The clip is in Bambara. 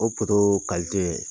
O